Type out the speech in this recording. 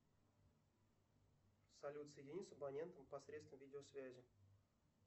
салют соедини с абонентом посредством видео связи